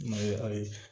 Mayiga ye